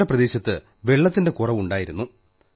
ഞങ്ങളുടെ പ്രദേശത്ത് വെള്ളത്തിന്റെ കുറവുണ്ടായിരുന്നു